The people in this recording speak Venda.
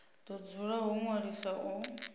do dzula ho ṅwaliswa u